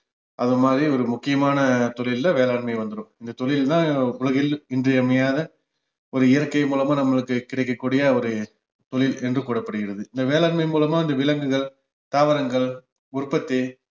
அந்த மாதிரி ஒரு முக்கியமான தொழில்ல வேளாண்மை வந்துரும் இந்த தொழில் தான் உலகில் இன்றியமையாத ஒரு இயற்கை மூலமா நம்மளுக்குக் கிடைக்கக் கூடிய ஒரு தொழில் என்று கூறப்படுகிறது இந்த வேளாண்மை மூலமா இந்த விலங்குகள், தாவரங்கள் உற்பத்தி